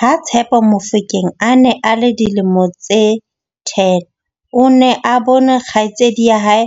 Ha- Tshepo Mofokeng a ne a le dilemo tse 10, o ne a bone kgaitsedi ya hae